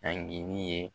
Agiri ye